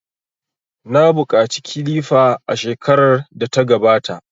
Na buƙaci kilifa a shekarar da ta gabata.